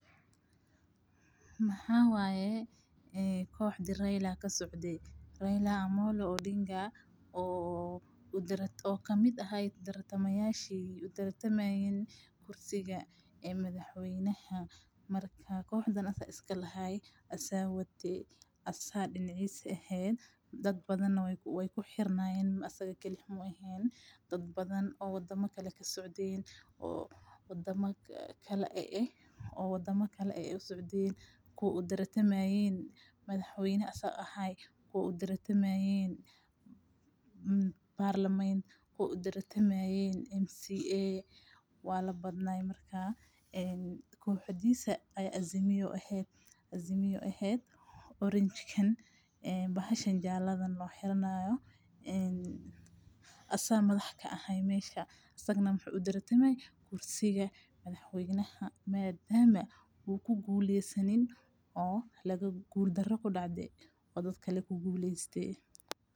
Maxawaye qoxda Raila kasocde. Raila Omollo Odinga oo kamid aha tartamayashe utartamayn kursiga ee madaxweynaha marka kooxdan isaga iskalahaye. Asaa waate asa dinicis eheed daad badhan waye ku xirnayeen asaga kalihi meheen daad badhan oo wadama kale kasocdeen oo wadama kala eyeyh oo wadama kale usocdeen. Kuwa utartamayeen madaxweynaha ee asaga ahay. Kuwa utartamayeen parliament kuwa utartamayeen MCA waa labdaan marka een koxdisa aa Azimio eeh orange kaan bahashan jaalada oo xiranayo asaa madax kaaha meshan asaga na waxa utartamaye kursiga madaxweynaha maadama u kugu laysanin oo guulkaro kudacde oo daadkale kuguleyste.